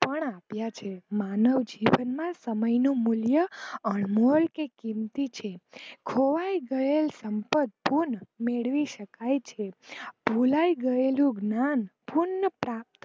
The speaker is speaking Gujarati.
પણ આપ્યા છે માનવજીવન માં સમય નું મૂલ્ય અનમોલ કે કિંમતી છે ખોવાય ગયેલ સંપ્રકક ફોન મેળવી શકાય છે ભુલાય ગયેલું જ્ઞાન પુન પ્રાપ્ત